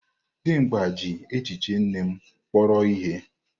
Dimgba ji echiche nne m kpọrọ ihe.